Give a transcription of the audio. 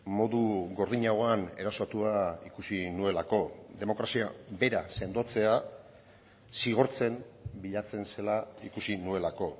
modu gordinagoan erasotua ikusi nuelako demokrazia bera sendotzea zigortzen bilatzen zela ikusi nuelako